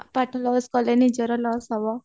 ପାଠ loss କଲେ ନିଜର loss